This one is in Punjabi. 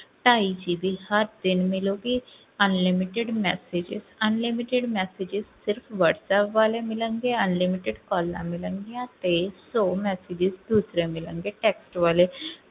ਢਾਈ GB ਹਰ ਦਿਨ ਮਿਲੇਗੀ unlimited messages unlimited messages ਸਿਰਫ਼ ਵਾਟਸੈਪ ਵਾਲੇ ਮਿਲਣਗੇ unlimited calls ਮਿਲਣਗੀਆਂ ਤੇ ਸੌ message ਦੂਸਰੇ ਮਿਲਣਗੇ text ਵਾਲੇ